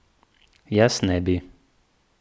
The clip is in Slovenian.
Jaz ne bi.